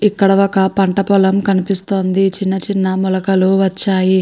ఇక్కడ ఒక పంట పొలం కనిపిస్తోంది చిన్న చిన్న మొలకలు వచ్చాయి.